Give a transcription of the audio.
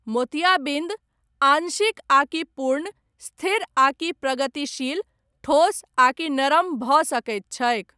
मोतियाबिन्द, आंशिक आकि पूर्ण, स्थिर आकि प्रगतिशील, ठोस आकि नरम भऽ सकैत छैक।